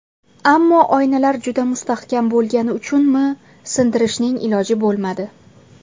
Ammo oynalar juda mustahkam bo‘lgani uchunmi, sindirishning iloji bo‘lmadi.